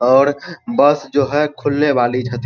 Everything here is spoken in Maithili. और बस जो है खुलने वाली छथी --